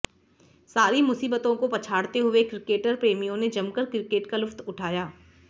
सारी मुसीबतों को पछाड़ते हुए क्रिकेट प्रेमियों ने जमकर क्रिकेट का लुत्फ उठाया